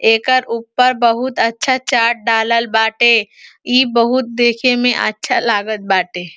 एकर ऊपर बहोत अच्छा चाट डालल बाटे। इ बहोत देखे में अच्छा लागत बाटे।